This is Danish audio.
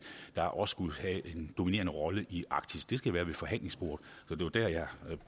der også skulle have en dominerende rolle i arktis det skal være ved forhandlingsbordet og det var der jeg